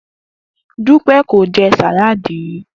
Dúpé̩ kò je̩ sáláàdì rí